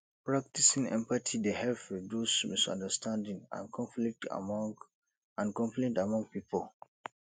practicing empathy dey help reduce misunderstanding and conflict among and conflict among pipo